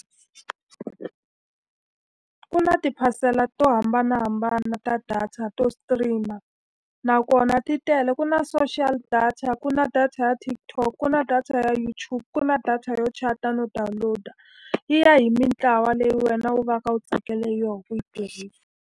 Ku na tiphasela to hambanahambana ta data to stream-a, nakona ti tele. Ku na social data, ku na data ya TikTok, ku na data ya YouTube, ku na data yo chat-a no download-a. Yi ya hi mitlawa leyi wena u va ka u tsakele yona ku yi tirhisa.